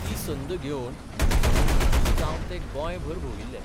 ती संद घेवन मुख्यमंत्री कशे जावन ते गोंयभर भोंविल्ले.